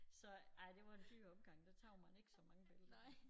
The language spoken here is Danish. Så ej det var en dyr omgang der tog man ikke så mange billeder